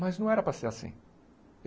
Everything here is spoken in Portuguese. Mas não era para ser assim.